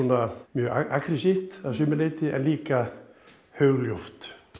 mjög agressíft að sumu leyti en líka hugljúft